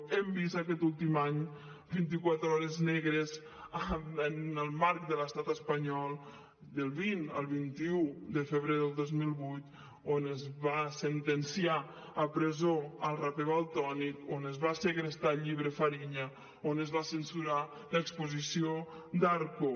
hem vist aquest últim any vint i quatre hores negres en el marc de l’estat espanyol del vint al vint un de febrer del dos mil divuit on es va sentenciar a presó el raper valtònyc on es va segrestar el llibre fariña on es va censurar l’exposició d’arco